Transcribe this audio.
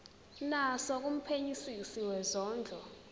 naso kumphenyisisi wezondlo